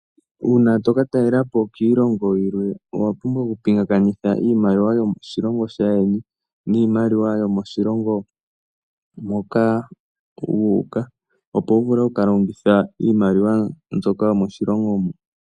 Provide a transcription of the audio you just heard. Uuna to ka talela po kiilongo yilwe owa pumbwa okupingakanitha iimaliwa yomoshilongo shaayeni niimaliwa yomoshilongo moka wu uka, opo wu vule oku ka longitha iimaliwa mbyoka yomoshilongo mo.